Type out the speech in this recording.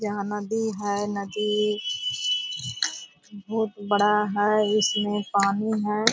यहाँ नदी है नदी बहुत बड़ा है इसमें पानी है।